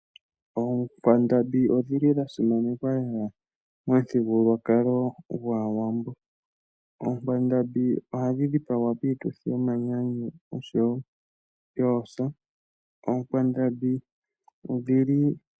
Oonkwandambi odhili dha simanekwa lela momuthigululwakalo gwawambo. Oonkwandambi ohadhi dhipagwa piituthi yomanyanyu noyoosa.